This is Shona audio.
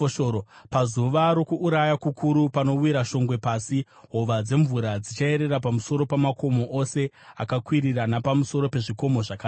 Pazuva rokuuraya kukuru, panowira shongwe pasi, hova dzemvura dzichayerera pamusoro pamakomo ose akakwirira napamusoro pezvikomo zvakareba.